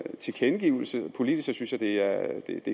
en tilkendegivelse politisk synes jeg det er